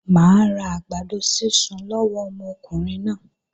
Mà á ra àgbàdo sísun lọ́wọ́ ọmọkùnrin náà.